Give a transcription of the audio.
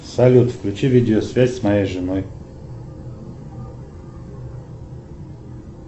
салют включи видеосвязь с моей женой